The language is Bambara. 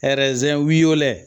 wɛlɛ